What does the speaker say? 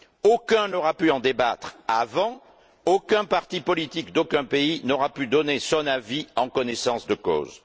Aucun n'aura donc pu en débattre avant, aucun parti politique d'aucun pays n'aura pu donner son avis en connaissance de cause.